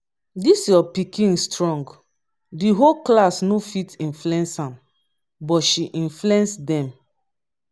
dis your pikin strong the whole class no fit influence am but she influence dem